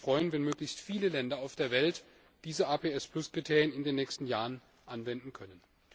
Ich würde mich freuen, wenn möglichst viele Länder auf der Welt diese APS Kriterien in den nächsten Jahren anwenden könnten.